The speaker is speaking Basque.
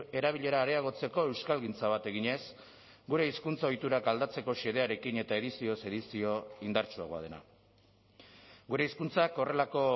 erabilera areagotzeko euskalgintza bat eginez gure hizkuntza ohiturak aldatzeko xedearekin eta edizioz edizio indartsuagoa dena gure hizkuntzak horrelako